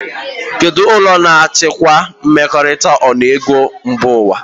Kedụ ụlọọrụ na-achịkwa mmekọrịta ọnụego mba ụwa?